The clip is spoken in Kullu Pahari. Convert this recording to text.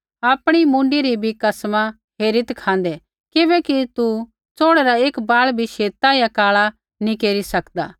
आपणी मुँडी री भी कसमा हेरीत् खाँदै किबैकि तू च़ोड़ै रा एक बाल़ भी शेता या काल़ा नी केरी सकदा